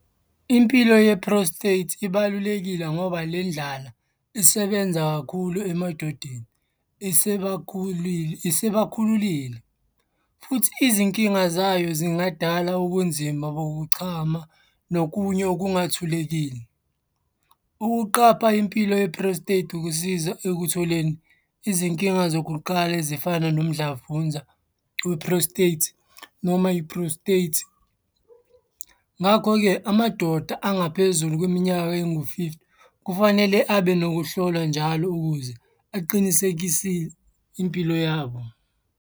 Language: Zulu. Impilo ye-prostate ibalulekile ngoba le ndlala isebenza kakhulu emadodeni esebakhululile, futhi izinkinga zayo zingadala ubunzima bokuchama nokunye okungathulekile. Ukuqapha impilo ye-prostate ukusiza ekutholeni izinkinga zokuqala ezifana nomdlavunza we-prostate noma i-prostate. Ngakho-ke, amadoda angaphezulu kweminyano engu-fifty kufanele abe nokuhlolwa njalo ukuze aqinisekise impilo yabo.